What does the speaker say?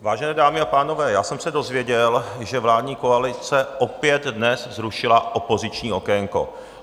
Vážené dámy a pánové, já jsem se dozvěděl, že vládní koalice opět dnes zrušila opoziční okénko.